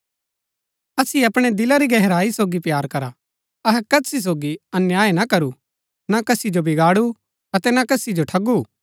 असिओ अपणै दिला री गहराई सोगी प्‍यार करा अहै कसी सोगी अन्याय ना करू ना कसी जो बिगाडू अतै ना कसी जो ठगू